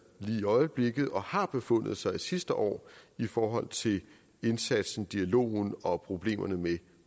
lige i øjeblikket og har befundet sig sidste år i forhold til indsatsen dialogen og problemerne med